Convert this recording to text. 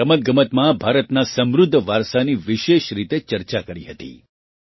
મેં રમતગમતમાં ભારતના સમૃદ્ધ વારસાની વિશેષ રીતે ચર્ચા કરી હતી